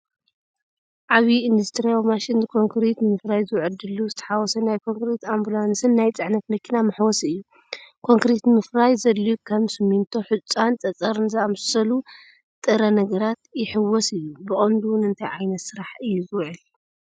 ዓቢ ኢንዱስትርያዊ ማሽን ንኮንክሪት ንምፍራይ ዝውዕል ድሉው ዝተሓዋወሰ ናይ ኮንክሪት ኣምቡላንስን (ናይ ጽዕነት መኪና መሕወሲ) እዩ። ኮንክሪት ንምፍራይ ዘድልዩ ከም ሲሚንቶ፣ ሑጻን ጸጸርን ዝኣመሰሉ ጥረ ነገራት ይሕውስ እዩ። ብቐንዱ ንእንታይ ዓይነት ስራሕ እዩ ዝውዕል?